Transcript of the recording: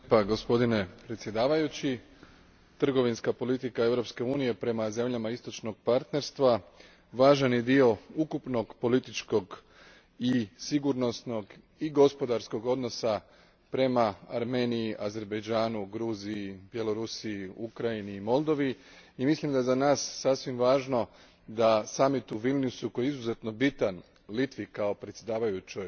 Gospodine predsjedniče, trgovinska politika Europske unije prema zemljama istočnog partnerstva važan je dio ukupnog političkog i sigurnosnog i gospodarskog odnosa prema Armeniji, Azerbajdžanu, Gruziji, Bjelorusiji, Ukrajini i Moldovi i mislim da je za nas sasvim važno da samit u Vilniusu koji je izuzetno bitan Litvi kao predsjedavajućoj